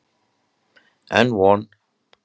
Enn von!